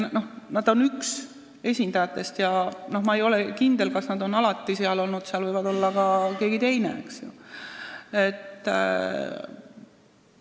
Nad on olnud üks esindajatest ja ma ei ole kindel, kas nad on seal alati olnud, võib olla on seal ka keegi teine olnud.